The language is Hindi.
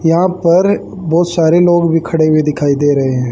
यहां पर बहोत सारे लोग भी खड़े हुए दिखाई दे रहे--